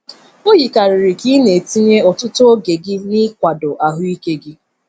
O yikarịrị ka ị na-etinye ọtụtụ oge gị n’ịkwado ahụ ike gị.